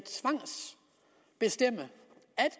bestemme at